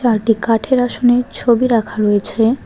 আরেকটি কাঠের আসনে ছবি রাখা রয়েছে।